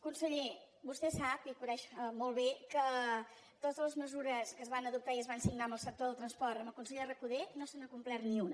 conseller vostè sap i coneix molt bé que de totes de les mesures que es van adoptar i es van signar amb el sector del transport amb el conseller recoder no se n’ha complert ni una